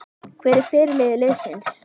Hver er fyrirliði liðsins?